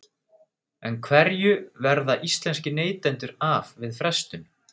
En hverju verða íslenskir neytendur af við frestun?